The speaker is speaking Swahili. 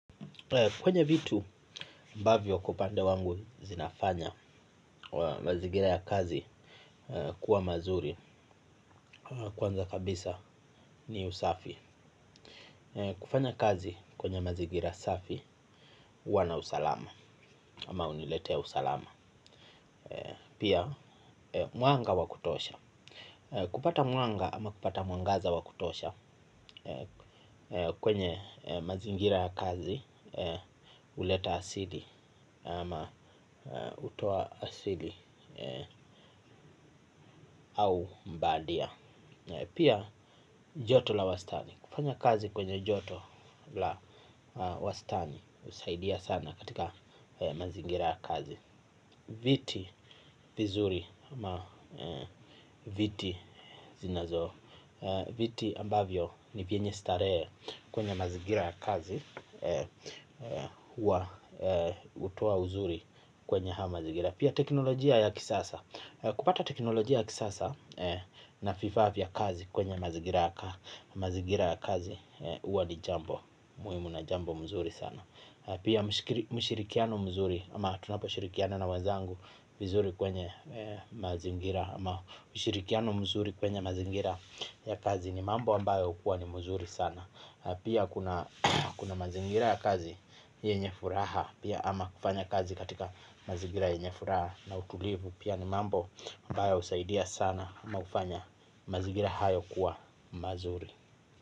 Kwenye vitu ambavyo kwa upande wangu zinafanya wa mazigira ya kazi kuwa mazuri kwanza kabisa ni usafi. Kufanya kazi kwenye mazingira ya usafi wana usalama ama uniletea usalama pia mwanga wa kutosha kupata mwanga au kupata mwangaza wa kutosha kwenye pia mazigira ya kazi uleta asidi ama utoa asili au mbadia na pia joto la wastani kufanya kazi kwenye joto la wastani usaidia sana katika mazingira ya kazi viti vizuri ama viti zinazo viti ambavyo ni vyenye staree kwenye mazingira kazi hua utoa uzuri kwenye hamazingira. Pia teknolojia ya kisasa, kupata teknolojia ya kisasa na fifaa vya kazi kwenye mazigira ya kazi uwa ni jambo, muimu na jambo mzuri sana. Pia mshirikiano mzuri, ama tunapo shirikiana na wanzangu mzuri kwenye mazigira ya kazi ni mambo ambayo kuwa ni mzuri sana kufanya kazi katika mazingira ya kazi yenye furaha na utulivu ni mambo ambayo husaidia sana ama hufanya mazingira hayop kuwa mazuri.